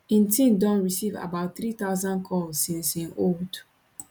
im team don receive about 3000 calls since im hold